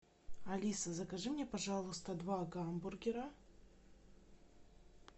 алиса закажи мне пожалуйста два гамбургера